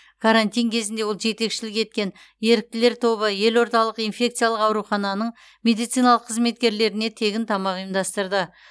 карантин кезінде ол жетекшілік еткен еріктілер тобы елордалық инфециялық аурухананың медициналық қызметкерлеріне тегін тамақ ұйымдастырды